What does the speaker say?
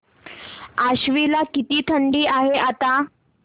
आश्वी ला किती थंडी आहे आता